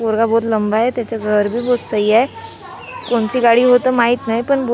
पोरगा बहुत लंबा है त्याचं घर भी बहुत सही है कोणती गाडी होतं माहित नाही पण --